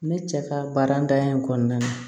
Ne cɛ ka baaratanya in kɔnɔna na